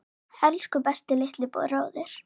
Elsku besti litli bróðir.